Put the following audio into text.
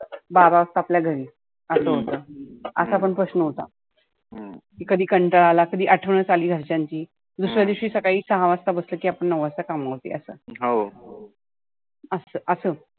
बारा वाजता आपल्या घरी, असं होतं. असा पण प्रश्न होता. कधी कंटाळा आला, कधी आठवनच आली घरच्यांची दुसऱ्या दिवशी सकाळी सहा वाजता बसलं की आपण नऊ वाजता कामा वर असं अस असं.